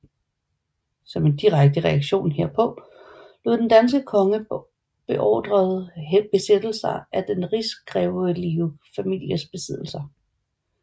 Som en direkte reaktion herpå lod den danske konge beordrede besættelser af den rigsgrevelige families besiddelser